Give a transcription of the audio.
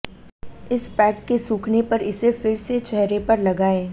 इस पैक के सूखने पर इसे फिर से चेहरे पर लगाएँ